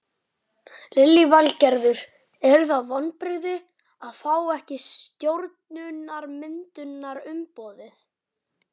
Lillý Valgerður: Eru það vonbrigði að fá ekki stjórnarmyndunarumboðið?